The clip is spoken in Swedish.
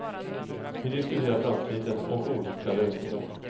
Vi diskuterar framtiden och olika lösningar.